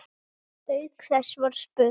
Auk þess var spurt